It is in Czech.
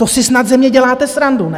To si snad ze mě děláte srandu, ne?